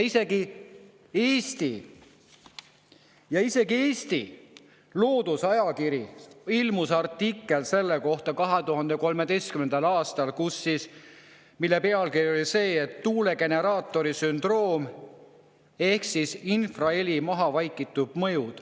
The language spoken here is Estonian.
Isegi Eesti Loodusajakirjas ilmus selle kohta 2013. aastal artikkel, mille pealkiri oli "Tuulegeneraatori sündroom: infraheli mahavaikitud mõju".